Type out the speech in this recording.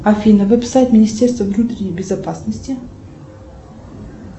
афина веб сайт министерства внутренней безопасности